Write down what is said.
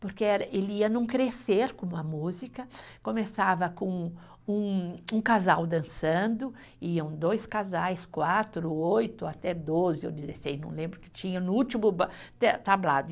Porque era, ele ia num crescer como a música, começava com um, um casal dançando, iam dois casais, quatro, oito, até doze ou dezesseis, não lembro o que tinha no último ba tablado.